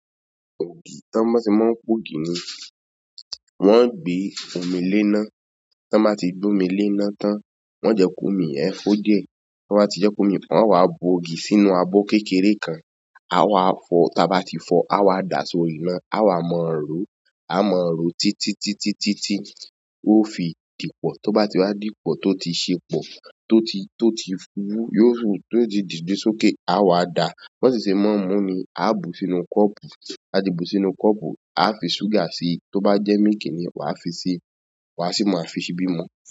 Ògì, tí wọ́n maa se máa ń po ògì ni wọ́n gbé omi lé ná. Tí wọ́n bá ti gbé omi lé ná tán, wọ́n jẹ kòmi yẹn hó dìẹ. Tí won ba ti je komi, won o wa bu ògì sínú abo kékeré kan. A wa fọ, tí a bá ti fọ, a wa dàá sórí iná. A wa mọ̀-ọ́n ró. A mọ̀-ọ́n ró títítítítítí tí yió fi dìpọ̀. Tó bá ti wá dìpò, tó ti se pò, to ti, to ti wu, to ti dide sókè a o wa da. B'on ti ṣe mọ́ n mú ni, a bù sínú kọ́pù. A ti bu sínú kọ́pù, a fi ṣúgà si. Tó bá jẹ́ míìkì ni wàá fi si. Wàá sì ma fi ṣíbí mú.